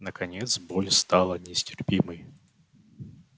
наконец боль стала нестерпимой